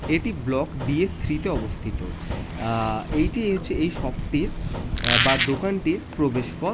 এটি block D S three -তে অবস্থিত। আঃ এটি হচ্ছে এই শপ -টির বা দোকানটির প্রবেশ পথ।